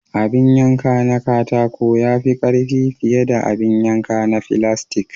Abin yanka na katako ya fi karfi fiye da abin yanka na filastik.